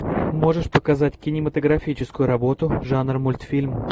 можешь показать кинематографическую работу жанр мультфильм